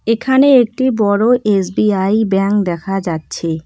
এখানে একটি বড় এস_বি_আই ব্যাংক দেখা যাচ্ছে।